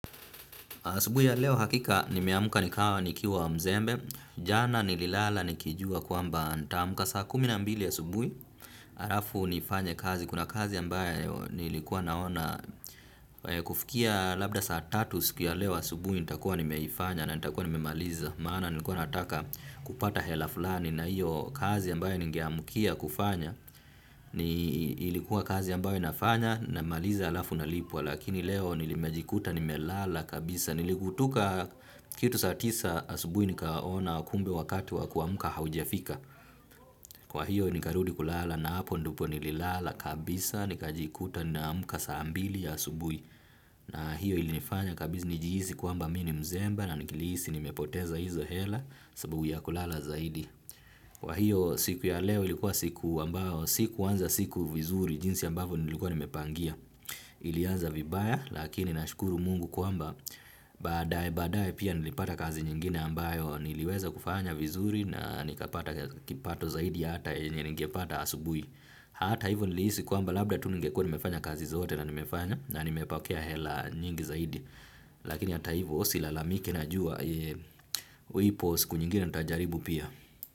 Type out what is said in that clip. Asubuhi ya leo hakika nimeamka nikawa nikiwa mzembe, jana nililala nikijua kwamba nitamka saa kumi na mbili asubuhi, halafu nifanye kazi, kuna kazi ambaye nilikuwa naona kufukia labda saa tatu siku ya leo asubuhi nita kuwa nimeifanya na nita kuwa nimemaliza, maana nilikuwa nataka kupata hela fulani na hiyo kazi ambayo nigeamkia kufanya, ni ilikuwa kazi ambayo nafanya na maliza alafu na lipwa, lakini leo nilimejikuta nimelala kabisa. Niligutuka kitu saatisa asubui nikaona kumbe wakati wakuamka haujafika. Kwa hiyo nikarudi kulala na hapo ndipo nililala kabisa. Nikajikuta naamka saa mbili ya asubui. Na hiyo ilinifanya kabisa nijihisi kwamba mi ni mzemba. Na nikihisi nimepoteza hizo hela sababu ya kulala zaidi. Kwa hiyo siku ya leo ilikuwa siku ambao siku anza siku vizuri jinsi ambavyo nilikuwa nimepangia. Ilianza vibaya lakini nashukuru mungu kuamba baadaye baadaye pia nilipata kazi nyingine ambayo niliweza kufanya vizuri na nikapata kipato zaidi hata yenye ningepata asubuhi. Hata hivyo nilihisi kwamba labda tu ningekua nimefanya kazi zote na nimefanya na nimepokea hela nyingi zaidi. Lakini hata hivyo silalamiki najua ipo siku nyingine natajaribu pia.